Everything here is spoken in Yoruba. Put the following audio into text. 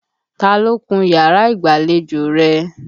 Ta ló kun yàrá ìgbàlejò rẹ?